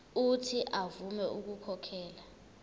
uuthi avume ukukhokhela